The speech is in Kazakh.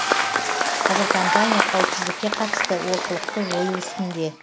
қазір компания қауіпсіздікке қатысты олқылықты жою үстінде